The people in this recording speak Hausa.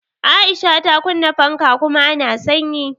Aisha ta Kunna fanka kuma a na sanyi.